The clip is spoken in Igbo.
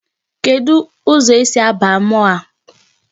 Kedụ ụzọ esi aba mall a?